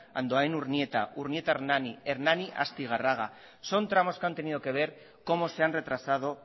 andoain urnieta urnieta hernani hernani astigarraga son tramos que han tenido que ver cómo se han retrasado